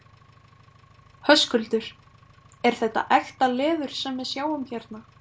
Höskuldur: Er þetta ekta leður sem við sjáum hérna?